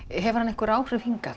hefur hann einhver áhrif hingað